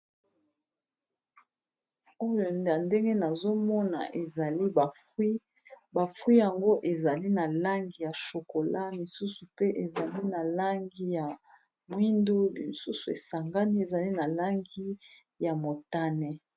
Oyo a ndenge nazomona ezali ba fruits ba fruits yango ezali na langi ya chokola misusu pe ezali na langi ya mwindu misusu esangani ezali na langi ya motane.